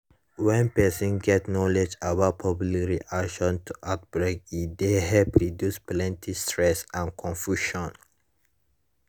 when person get knowledge about public reaction to outbreak e dey help reduce plenty stress and confusion